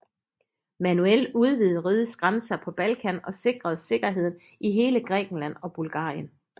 Manuel udvidede rigets grænser på Balkan og sikrede sikkerheden i hele Grækenland og Bulgarien